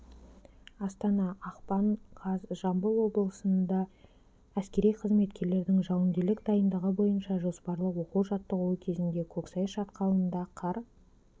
астана ақпан қаз жамбыл облысында әскери қызметкерлердің жауынгерлік дайындығы бойынша жоспарлы оқу-жаттығуы кезінде көксай шатқалында қар